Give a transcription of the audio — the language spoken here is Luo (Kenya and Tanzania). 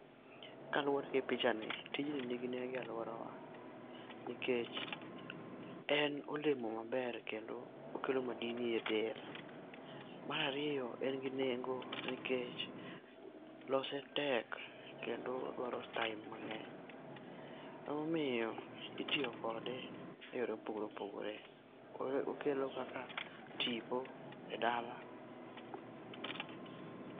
Kaluore gi pichani , tijni ni gi nengo e aluora wa nikech en olemo maber kendo okelo madini e del. Mar ariyo, en gi nengo nikech lose tek kendo odwaro time mang'eny. Ema omiyo itiyo kode e yore ma opogore opogore, koro okelo kaka tipo e dala.